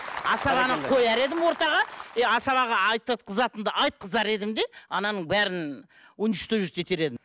асабаны қояр едім ортаға и асабаға айтқызатынды айтқызар едім де ананың бәрін уничтожить етер едім